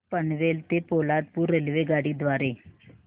पनवेल ते पोलादपूर रेल्वेगाडी द्वारे